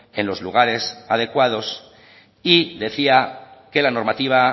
en los lugares adecuados y decía que la normativa